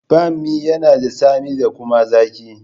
Banmi yana da tsami da kuma zaki.